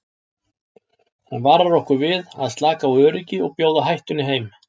Hann varar okkur við að slaka á öryggi og bjóða hættunni heim.